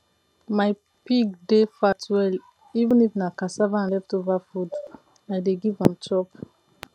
my pig dey fat well even if na cassava and leftover food i dey give am chop